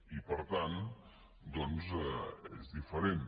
i per tant doncs és diferent